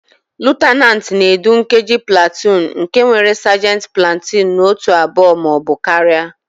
Lutenantị na-edu nkeji platuun nke nwere sajenti platuun na otù abụọ ma ọ bụ karịa.